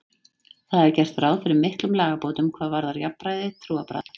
Þar er gert ráð fyrir miklum lagabótum hvað varðar jafnræði trúarbragða.